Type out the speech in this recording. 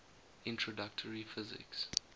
introductory physics